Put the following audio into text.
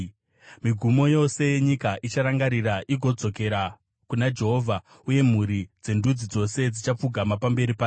Migumo yose yenyika icharangarira igodzokera kuna Jehovha, uye mhuri dzendudzi dzose dzichapfugama pamberi pake,